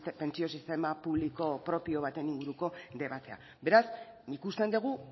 pentsio sistema publiko propio baten inguruko debatea beraz ikusten dugu